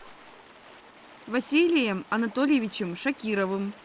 василием анатольевичем шакировым